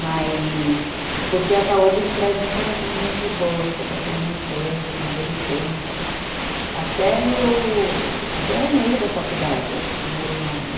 Mas, porque a Saúde me traz muitas lembranças boas, que eu passei minha infância, minha adolescência, até eu... até o meio da faculdade eu morei lá, né?